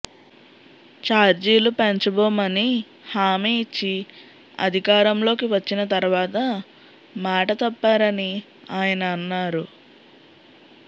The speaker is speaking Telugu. చార్జీలు పెంచబోమని హామీ ఇచ్చి అధికారంలోకి వచ్చిన తర్వాత మాట తప్పారని ఆయన అన్నారు